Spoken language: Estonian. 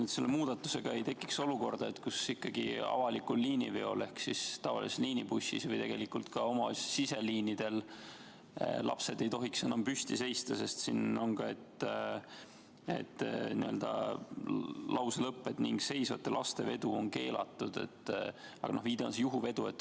Ega selle muudatusega ei teki nüüd olukorda, kus avalikul liiniveol ehk tavalises liinibussis või tegelikult ka omavalitsuste siseliinidel ei tohi lapsed enam püsti seista, sest lause lõpp ütleb, et "seisvate laste vedu on keelatud", aga viide on juhuveole?